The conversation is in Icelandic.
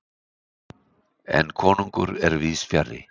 En konungur er víðsfjarri.